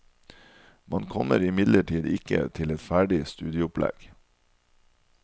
Man kommer imidlertid ikke til et ferdig studieopplegg.